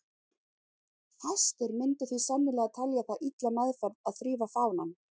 Fæstir myndu því sennilega telja það illa meðferð að þrífa fánann.